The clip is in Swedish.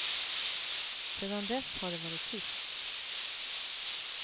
Sedan dess har det varit tyst.